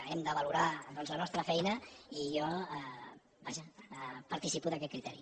hem de valorar doncs la nostra feina i jo vaja participo d’aquest criteri